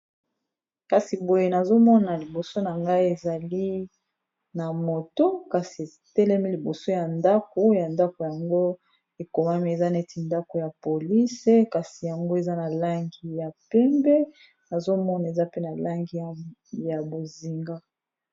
kasi boye nazomona liboso na ngai ezali na moto kasi etelemi liboso ya ndako ya ndako yango ekomami eza neti ndako ya polise kasi yango eza na langi ya pembe nazomona eza pe na langi ya bozinga